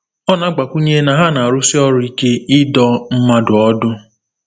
Ọ na-agbakwunye na ha na-arụsi ọrụ ike ịdọ mmadụ ọdụ.